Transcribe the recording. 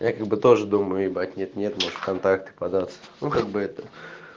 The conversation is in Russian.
я как бы тоже думаю ебать нет-нет может в контакты податься ну как бы это